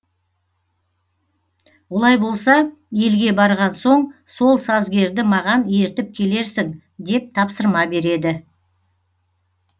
олай болса елге барған соң сол сазгерді маған ертіп келерсің деп тапсырма береді